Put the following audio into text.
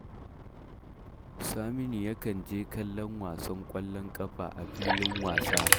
Saminu yakan je kallon wasan ƙwallon ƙafa a filin wasa